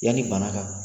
Yanni bana ka